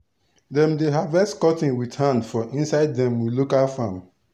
dem dey harvest cotton with hand for inside dem we local farm.